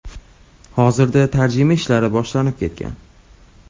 Hozirda tarjima ishlari boshlanib ketgan.